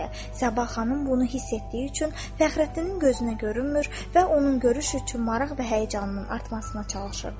Səbah xanım bunu hiss etdiyi üçün Fəxrəddinin gözünə görünmür və onun görüş üçün maraq və həyəcanının artmasına çalışırdı.